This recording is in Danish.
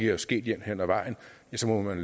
er sket jævnt hen ad vejen ja så må man